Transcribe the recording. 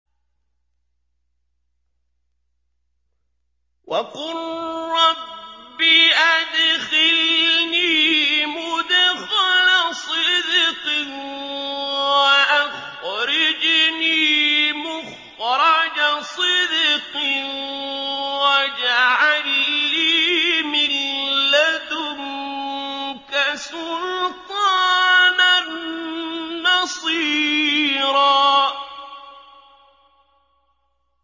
وَقُل رَّبِّ أَدْخِلْنِي مُدْخَلَ صِدْقٍ وَأَخْرِجْنِي مُخْرَجَ صِدْقٍ وَاجْعَل لِّي مِن لَّدُنكَ سُلْطَانًا نَّصِيرًا